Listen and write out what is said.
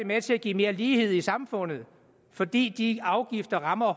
med til at give mere lighed i samfundet fordi de afgifter rammer